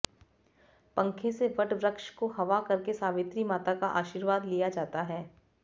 पंखे से वट वृक्ष को हवा करके सावित्री मांता का आशीर्वाद लिया जाता है